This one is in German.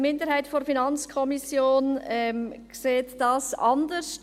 Die Minderheit der FiKo sieht dies anders.